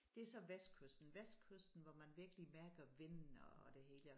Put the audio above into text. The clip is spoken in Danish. Det så vestkysten vestkysten hvor man virkelig mærker vinden og det hele og